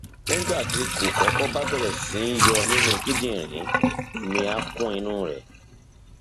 nígbà tí kókọkọ bá bẹrẹ sí yọ nínú kíndìnrín omi á kún inú rẹ